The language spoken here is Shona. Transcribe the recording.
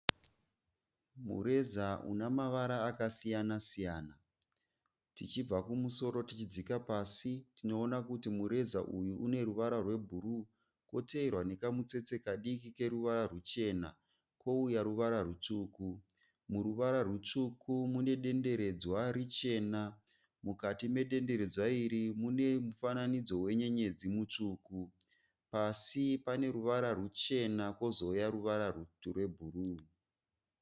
Mureza unamavara akasiyana siyana. Tichibva kumusoro tichidzika pasi tinoona kuti mureza uyu uneruvara rwebhuruwu. Koteerwa nekamutsetse kadiki keruvara rwuchena. Kouya ruvara rutsvuku. Muruvara rwutsvuku umu mune denderedzwa richena. Mukati mudenderedzwa iri mune mufananidzo wenyenyedzi mutsvuku. Pasi pane ruvara rwuchena kozouya ruvara rwebhuruwu.